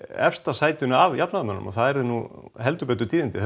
efsta sætinu af jafnaðarmönnum það yrðu nú heldur betur tíðindi